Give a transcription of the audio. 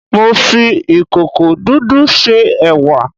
Mo fi ìkòkò dúdú se ẹ̀wà